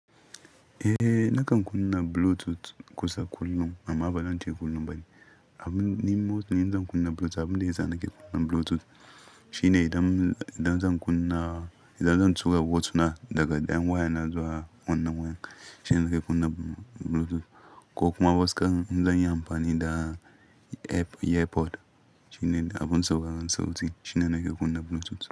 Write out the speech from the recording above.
Eh, nakan kunna Bluetooth kusa kullum amma bazan ce kullum bane. Abun nima zan kunna Bluetooth, abin da ya sa nake kunna Bluetooth shine idan, idan zan kunna, idan zan tura hotuna daga ɗayan wayana zuwa wannan waya shine nake kunna Bluetooth. Ko kuma waskar zan yi amfani da airpod shine abun saurarar sauti shine nake kunna Bluetooth.